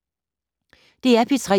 DR P3